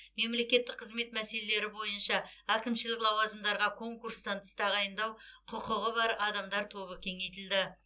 мемлекеттік қызмет мәселелері бойынша әкімшілік лауазымдарға конкурстан тыс тағайындау құқығы бар адамдар тобы кеңейтілді